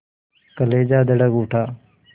कलेजा धड़क उठा